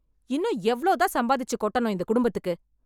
இன்னும் எவ்ளோதான் சம்பாதிச்சு கொட்டணும் இந்த குடும்பத்துக்கு?